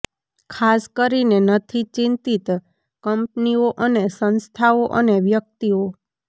ખાસ કરીને નથી ચિંતિત કંપનીઓ અને સંસ્થાઓ અને વ્યક્તિઓ